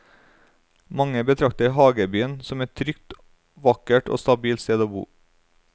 Mange betrakter hagebyen som et trygt, vakkert og stabilt sted å bo.